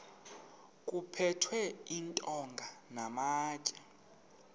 kuphethwe iintonga namatye